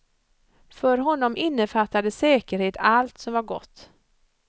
För honom innefattade säkerhet allt som var gott.